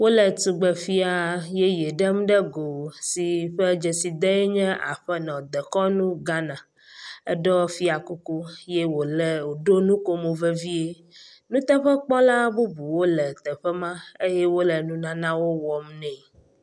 Wole tugbefia yeye ɖem ɖe go si ƒe dzesidee nye “aƒenɔ dekɔnu Ghana,”,eɖɔ fiakuku ye wòle wòɖo nukomo vevie, nuteƒekpɔla bubuwo le teƒe ma eye wole nunanawo wɔm nɛ.